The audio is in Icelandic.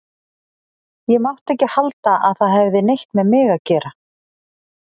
Ég mátti ekki halda að það hefði neitt með mig að gera.